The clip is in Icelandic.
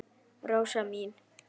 Rósa mín.